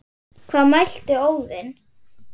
Hvað mælti Óðinn